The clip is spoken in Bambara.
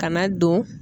Kana don